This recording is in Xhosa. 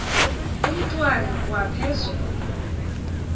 umntwana kwa phezolo